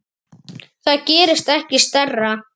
Það gerist ekki stærra.